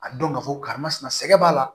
A dɔn k'a fɔ karisa ma sina sɛgɛ b'a la